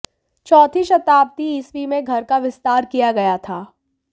चौथी शताब्दी ईस्वी में घर का विस्तार किया गया था